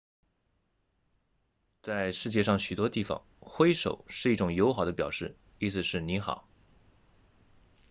在世界上许多地方挥手是一种友好的表示意思是你好